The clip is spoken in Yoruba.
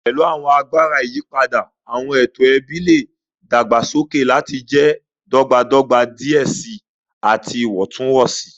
Pẹlu awọn agbara iyipada, awọn eto ẹbi le dagbasoke lati jẹ dọgbadọgba diẹ sii ati iwọntunwọnsi.